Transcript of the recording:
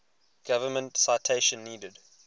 government citation needed